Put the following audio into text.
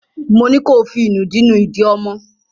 Mo ní ko fí ìnùdí nú ìdí ọmọ!